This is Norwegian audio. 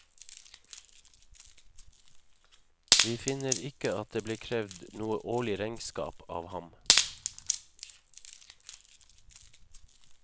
Vi finner ikke at det ble krevd noe årlig regnskap av ham.